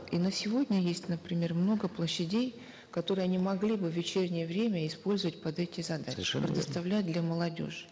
и на сегодня есть например много площадей которые они могли бы в вечернее время использовать под эти задачи совершенно верно предоставлять для молодежи